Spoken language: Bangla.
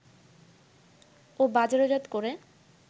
ও বাজারজাত করে